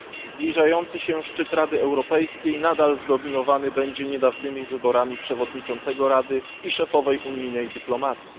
Zbliżający się szczyt Rady Europejskiej nadal zdominowany będzie niedawnymi wyborami przewodniczącego Rady i szefowej unijnej dyplomacji.